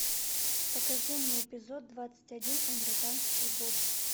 покажи мне эпизод двадцать один американские боги